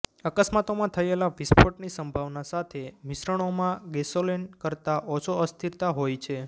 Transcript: અકસ્માતોમાં થયેલા વિસ્ફોટની સંભાવના સાથે મિશ્રણોમાં ગેસોલીન કરતા ઓછો અસ્થિરતા હોય છે